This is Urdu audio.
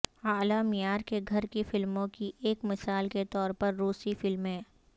اعلی معیار کے گھر کی فلموں کی ایک مثال کے طور پر روسی فلمیں